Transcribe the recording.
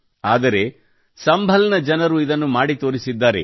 ಆದರೆ ಸಂಭಲ್ ನ ಜನರು ಇದನ್ನು ಮಾಡಿ ತೋರಿಸಿದ್ದಾರೆ